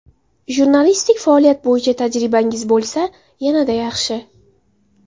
Jurnalistik faoliyat bo‘yicha tajribangiz bo‘lsa, yanada yaxshi!